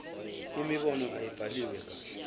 imibono ayibhaliwe kahle